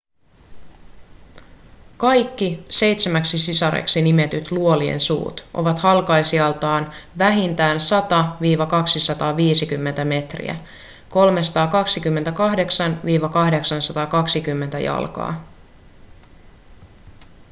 kaikki seitsemäksi sisareksi nimetyt luolien suut ovat halkaisijaltaan vähintään 100–250 metriä 328–820 jalkaa